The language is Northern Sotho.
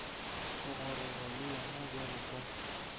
thogorogo le yena bjalo ka